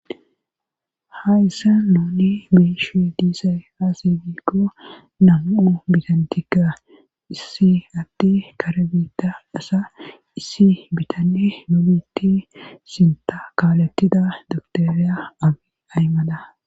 ha issa nouni miishi diisay aasiikko namuu bitantika issi atti karebita asa issi bitanne nomiti sinta kaalettida doktoriya abi aymada.